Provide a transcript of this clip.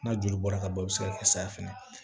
N'a joli bɔra ka ban i bɛ se ka kɛ saya fɛnɛ ye